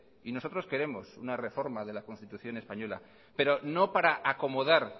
y nosotros queremos una reforma de la constitución española pero no para acomodar